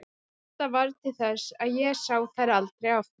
Þetta varð til þess að ég sá þær aldrei aftur.